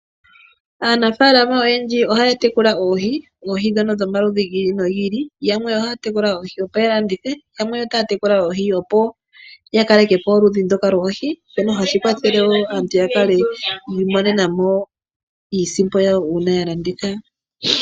Aanafalama oyendji ohaya tekula oohi. Oohi ndhono dhomaludhi gi ili nogi ili. Yamwe ohaya tekula oohi opo yalandithe, yamwe otaya tekula oohi opo yakaleke po oludhi ndoka lwoohi, shono hashi kwathele wo aantu yakale yiimonena mo iisimpo yawo uuna yalanditha.